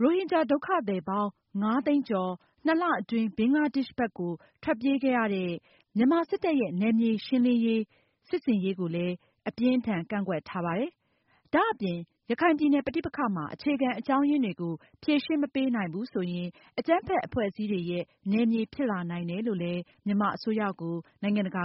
ရိုဟင်ဂျာ ဒုက္ခသည်ပေါင်း ၅ သိန်းကျော် ၂ လအတွင်း ဘင်္ဂလားဒေ့ရှ်ဘက်မှာ ထွက်ပြေးခဲ့ရတဲ့ မြန်မာစစ်တပ်ရဲ့ နယ်မြေရှင်းလင်းရေး စစ်ဆင်ရေးကိုလည်း အပြင်းအထန်ကန့်ကွက်ထားပါတယ်။ ရခိုင်ပြည်နယ်ပဋိပက္ခမှာ အခြေခံအကြောင်းအရင်းတွေကို ဖြေရှင်းမပေးနိုင်ဘူးဆိုရင် အကြမ်းဖက်အဖွဲ့အစည်းတွေရဲ့ နယ်မြေဖြစ်လာနိုင်တယ်လို့ နိုင်ငံတကာ